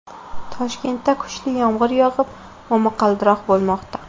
Toshkentda kuchli yomg‘ir yog‘ib, momaqaldiroq bo‘lmoqda.